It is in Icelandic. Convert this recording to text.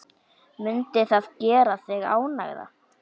Mundi það gera þig ánægða?